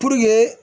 Puruke